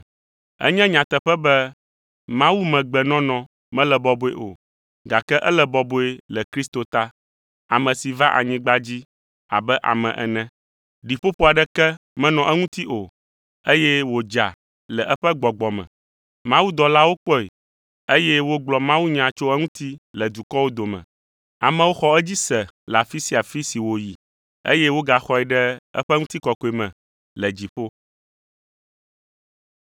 Enye nyateƒe be mawumegbenɔnɔ mele bɔbɔe o, gake ele bɔbɔe le Kristo ta, ame si va anyigba dzi abe ame ene. Ɖiƒoƒo aɖeke menɔ eŋuti o, eye wòdza le eƒe gbɔgbɔ me. Mawudɔlawo kpɔe, eye wogblɔ mawunya tso eŋuti le dukɔwo dome. Amewo xɔ edzi se le afi sia afi si wòyi, eye wogaxɔe ɖe eƒe ŋutikɔkɔe me le dziƒo.